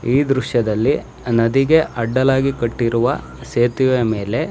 ಈ ದೃಶ್ಯದಲ್ಲಿ ನದಿಗೆ ಅಡ್ಡಲಾಗಿ ಕಟ್ಟಿರುವ ಸೇತುವೆ ಮೇಲೆ --